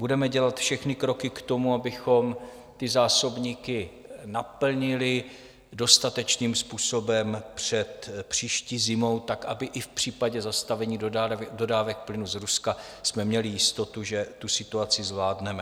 Budeme dělat všechny kroky k tomu, abychom ty zásobníky naplnili dostatečným způsobem před příští zimou tak, aby i v případě zastavení dodávek plynu z Ruska jsme měli jistotu, že tu situaci zvládneme.